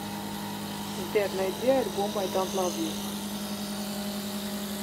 сбер найди альбом ай донт лав ю